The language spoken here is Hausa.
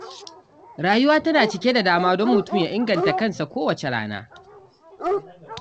Rayuwa tana cike da dama don mutum ya inganta kansa kowace rana.